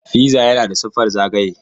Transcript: Piza yana da siffar zagaye.